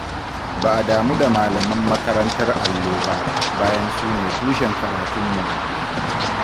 Ba a damu da malaman makarantar allo ba, bayan sune tushen karatunmu.